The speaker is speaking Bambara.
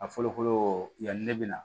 A fɔlɔ fɔlɔ yanni ne bɛ na